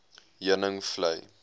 heuningvlei